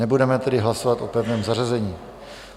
Nebudeme tedy hlasovat o pevném zařazení.